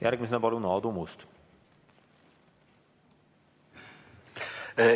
Järgmisena palun Aadu Must!